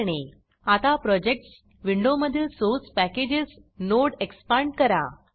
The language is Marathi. आता प्रोजेक्ट्स प्रोजेक्टस विंडोमधील source package source packages node expand करा